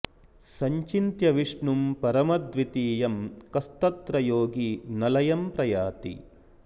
सञ्चिन्त्य विष्णुं परमद्वितीयं कस्तत्र योगी न लंय प्रयाति